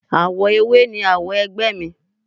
Awo ewé ni awo ẹgbẹ́ mi.